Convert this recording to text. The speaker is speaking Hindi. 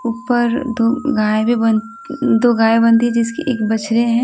ऊपर दो गाय भी दो गाय भी बंधी हुई हैं जिनके बछड़े हैं।